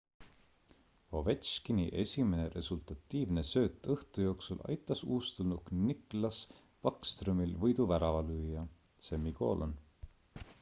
ovechkini esimene resultatiivne sööt õhtu jooksul aitas uustulnuk nicklas backstromil võiduvärava lüüa